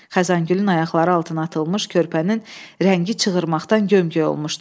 Xəzəngülün ayaqları altına atılmış körpənin rəngi çığırmaqdan gömgöy olmuşdu.